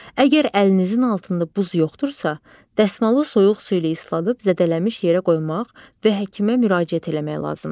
Əgər əlinizin altında buz yoxdursa, dəsmalı soyuq su ilə isladıb zədələnmiş yerə qoymaq və həkimə müraciət eləmək lazımdır.